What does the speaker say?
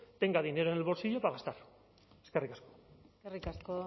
tenga dinero en el bolsillo para gastar eskerrik asko eskerrik asko